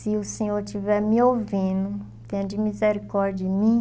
Se o Senhor estiver me ouvindo, tenha de misericórdia em mim.